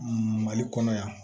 Mali kɔnɔ yan